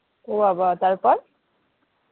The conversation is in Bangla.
ও বাবা তারপর?